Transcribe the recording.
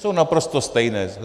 Jsou naprosto stejné.